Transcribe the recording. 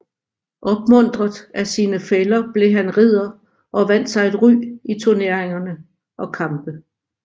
Opmuntret af sine fæller blev han ridder og vandt sig et ry i turneringer og kampe